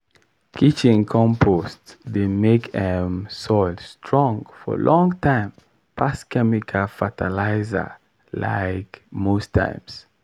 when dry time come i dey spray small-small compost water for my okra make dem still grow well.